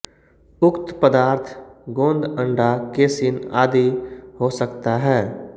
उक्त पदार्थ गोंद अंडा केसिन आदि हो सकता है